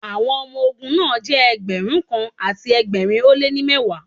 Àwọn ọmọ ológun náà jẹ́ Ẹgbẹ̀rún kan àti ẹgbẹ̀rin ó lé ní mẹ́wàá.